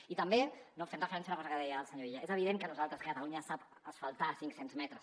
i també no fent referència a una cosa que deia el senyor illa és evident que nosaltres que catalunya sap asfaltar cinc cents metres